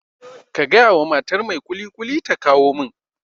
Ka gaya wa matar mai kulikuli ta kawo min